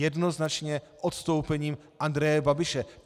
Jednoznačně odstoupením Andreje Babiše.